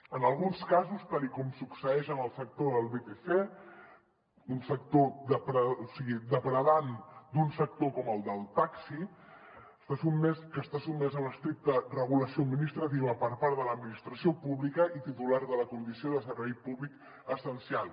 en alguns casos tal com succeeix en el sector del vtc depredant un sector com el del taxi que està sotmès a l’estricta regulació administrativa per part de l’administració pública i titular de la condició de servei públic essencial